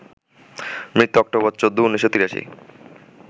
মৃত্যু অক্টোবর ১৪, ১৯৮৩